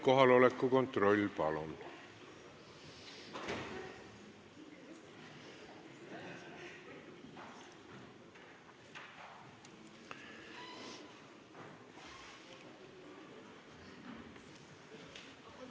Kohaloleku kontroll, palun!